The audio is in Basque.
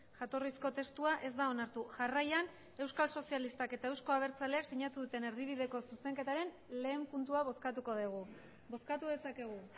jatorrizko testua ez da onartu jarraian euskal sozialistak eta euzko abertzaleak sinatu duten erdibideko zuzenketaren lehen puntua bozkatuko dugu bozkatu dezakegu